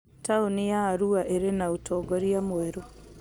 Taũni ya Arua ĩrĩ na ũtongoria mwerũ